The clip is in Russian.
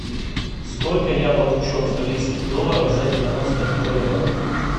сколько я получу австралийских долларов за девяносто боливаров